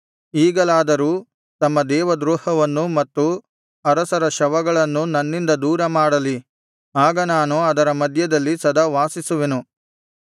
ಈಗಲಾದರೂ ತಮ್ಮ ದೇವದ್ರೋಹವನ್ನು ಮತ್ತು ಅರಸರ ಶವಗಳನ್ನು ನನ್ನಿಂದ ದೂರ ಮಾಡಲಿ ಆಗ ನಾನು ಅದರ ಮಧ್ಯದಲ್ಲಿ ಸದಾ ವಾಸಿಸುವೆನು